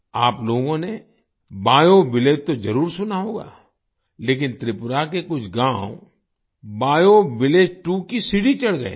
आप लोगों ने बायोविलेज तो जरुर सुना होगा लेकिन त्रिपुरा के कुछ गाँव बायोविलेज 2 की सीढ़ी चढ़ गए हैं